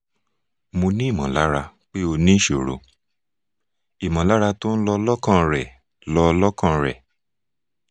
mo ní ìmọ̀lára pé ó ń ní ìṣòro ìmọ̀lára tó ń lọ lọ́kàn rẹ̀ lọ lọ́kàn rẹ̀